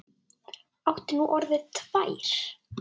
Áttu nú orðið tvær?